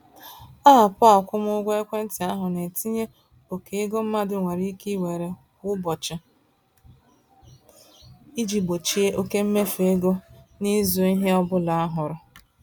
Aapụ-akwụmụgwọ-ekwentị ahụ na-etinye oke ego mmadụ nwere ike iwere kwa ụbọchị iji gbochie oke mmefu ego n'ịzụ ihe ọbụla a hụrụ.